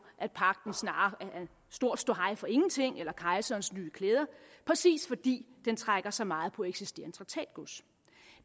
at pagten snarere er stor ståhej for ingenting eller kejserens nye klæder præcis fordi den trækker så meget på eksisterende traktatgods